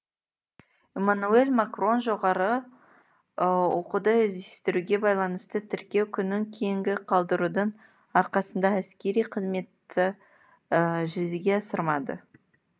эммануэль макрон жоғары оқуды іздестіруге байланысты тіркеу күнін кейінге қалдырудың арқасында әскери қызметті жүзеге асырмады